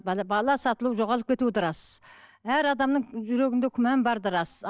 бала сатылу жоғалып кету де рас әр адамның жүрегінде күмән бар да рас